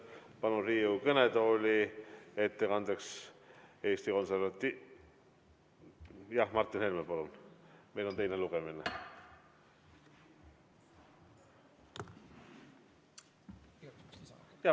Palun Riigikogu kõnetooli Martin Helme!